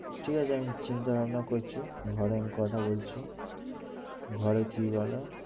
ঠিক আছে আমি চিন্তা ভাবনা করছি, ঘরে আমি কথা বলছি ঘরে কি বলে